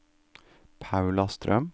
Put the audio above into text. Paula Strøm